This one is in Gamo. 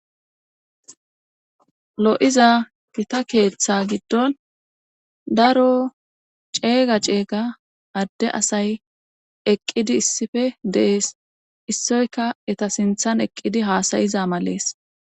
lo7iza gita keeththa giddon daro ceega ceega adde asay eqqidi issife dees issoyka eta sinthan eqqidi haasayiza malees